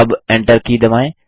अब enter key दबाएँ